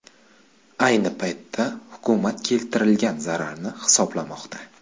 Ayni paytda hukumat keltirilgan zararni hisoblamoqda.